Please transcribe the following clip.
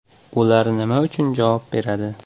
Ular nima uchun javob beradi?